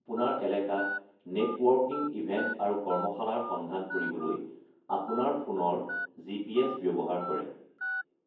আপোনাৰ এলেকাত networking event আৰু কৰ্মশালাৰ সন্ধান কৰিবলৈ আপোনাৰ ফোনৰ জি.পি.এছ. ব্যৱহাৰ কৰে।